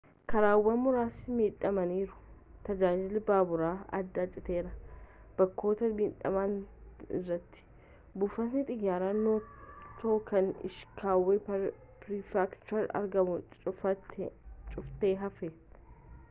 karaawwan muraasti midhamaniiru tajaajilli baabura adda citeera bakkoota midhamaan irratti buufatni xiyyaara noto kan ishikawa prefekchurati argamu cufaati hafe